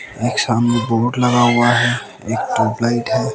एक सामने बोर्ड लगा हुआ है एक पंपलेट हैं।